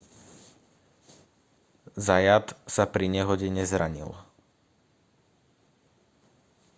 zayat sa pri nehode nezranil